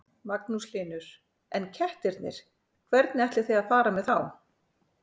Magnús Hlynur: En kettirnir, hvernig ætlið þið að fara með þá?